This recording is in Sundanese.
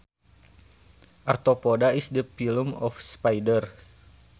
Arthopoda is the phylum of spiders